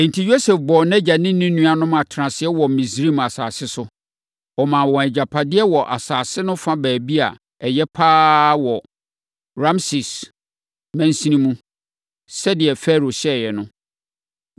Enti, Yosef bɔɔ nʼagya ne ne nuanom no atenaseɛ wɔ Misraim asase so. Ɔmaa wɔn agyapadeɛ wɔ asase no fa baabi a ɛyɛ pa ara wɔ Rameses mansini mu, sɛdeɛ Farao hyɛeɛ no.